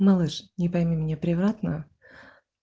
малыш не пойми меня превратно